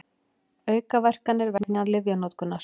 Aukaverkanir vegna lyfjanotkunar.